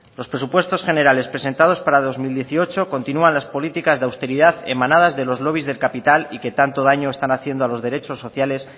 los presupuestos generales presentados para el dos mil dieciocho continúan las políticas de austeridad emanadas de los lobbies del capital y que tanto daño están haciendo a los derechos sociales